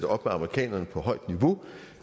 op med amerikanerne på højt niveau